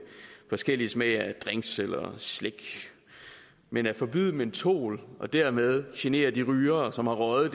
forskellig smage af drinks eller slik men at forbyde mentol og dermed genere de rygere som har røget